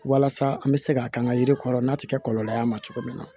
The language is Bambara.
Walasa an bɛ se ka kɛ an ka yiri kɔrɔ n'a tɛ kɛ kɔlɔlɔ ye a ma cogo min na